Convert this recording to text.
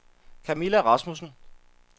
Kamilla Rasmussen